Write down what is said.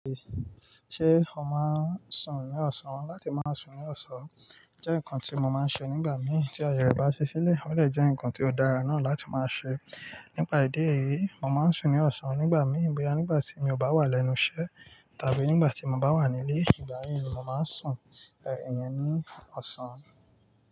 Ṣé o máa ń sùn ní ọ̀sán? Láti máa sùn ní ọ̀sán jẹ́ nǹkan tí mo máa ń ṣe nígbà mí tí aye rẹ̀ bá ṣi ṣílẹ̀. Ó lè jẹ́ ǹkan tí ó dára náà láti máa ṣe. Nípa ìdí èyí, mo máa ń sùn ní ọ̀sán nígbà mí boya nígbà tí mi o bá wà lẹ́nu iṣẹ́ tàbí nígbà tí mo bá wà nílé. Ìgbà yí ni mo máa ń sùn, ìyẹn ní ọ̀sán.